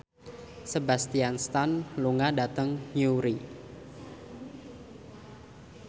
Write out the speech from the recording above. Sebastian Stan lunga dhateng Newry